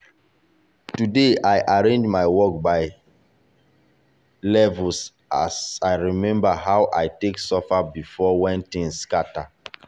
today i arrange my work by levelas levelas i remember how i take suffer before when things scatter.